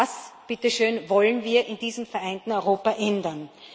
Und das, bitte schön, wollen wir in diesem vereinten Europa ändern.